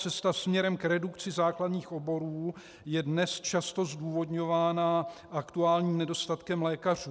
Cesta směrem k redukci základních oborů je dnes často zdůvodňována aktuálním nedostatkem lékařů.